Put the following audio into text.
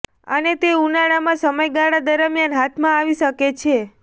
અને તે ઉનાળામાં સમયગાળા દરમિયાન હાથમાં આવી શકે છે